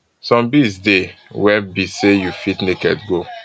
some bees dey wey be say you fit naked go